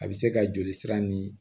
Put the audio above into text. A bɛ se ka joli sira ni